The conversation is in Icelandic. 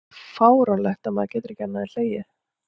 Þetta er svo fáránlegt að maður getur ekki annað en hlegið.